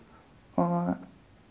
og